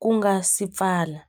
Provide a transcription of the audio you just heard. ku nga si pfala.